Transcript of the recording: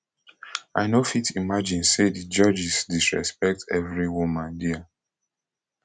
i no fit imagine say di judges disrespect every woman dia